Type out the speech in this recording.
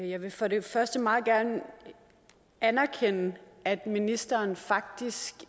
jeg vil for det første meget gerne anerkende at ministeren faktisk